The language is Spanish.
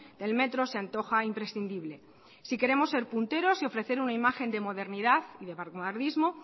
del metro se antoja imprescindible si queremos ser punteros y ofrecer una imagen de modernidad y de vanguardismo